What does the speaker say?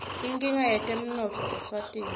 inkinga yetemnotfo eswatini